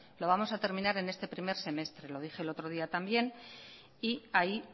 lo vamos a terminar en este primer semestre lo dije el otro día también y ahí